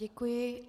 Děkuji.